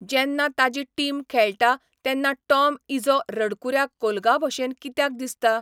जेन्ना ताजी टीम खेळटा तेन्ना टॉम इझो रडकुऱ्या कोलगाभशेन कित्याक दिसता?